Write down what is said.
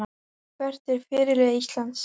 Hver er fyrirliði Íslands?